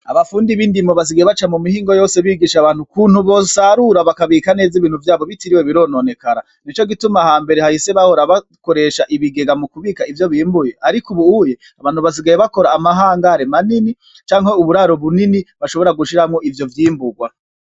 Abafundi bindimo basigaye baca mu mihingo yose bigisha abantu ukuntu bosarura bakabika neza ibintu vyabo bitarinze birononekara, nico gituma aho hambere hahise bahora bakoresha ibigega mu kubika ivyo bimbuye ariko ubu abantu basigaye bakora ama hangare manini canke uburaro bunini bashobora gushiramwo ivyo vyimburwa.